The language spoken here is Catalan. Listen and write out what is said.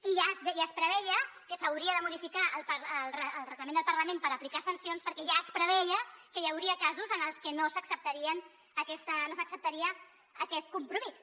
i ja es preveia que s’hauria de modificar el reglament del parlament per aplicar sancions perquè ja es preveia que hi hauria casos en els que no s’acceptaria aquest compromís